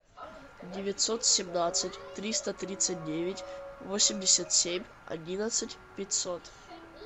девятьсот семнадцать триста тридцать девять восемьдесят семь одиннадцать пятьсот